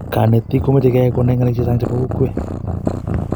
konetik komeche keyay konai ngalek chechang chebo kokwet